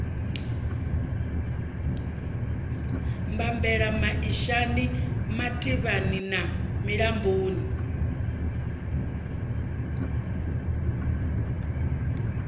bambela maishani mativhani na milamboni